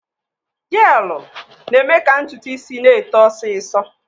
Jeelụ na-eme ka ntutu isi na-eto ọsịsọ.